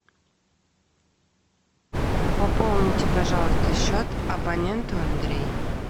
пополните пожалуйста счет абоненту андрей